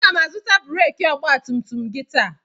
Aga m azụta breekị ọgbatumtum gị taa.